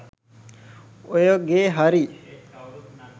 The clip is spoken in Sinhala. ඔය ගේ හරි